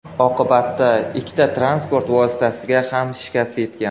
Oqibatida ikkala transport vositasiga ham shikast yetgan.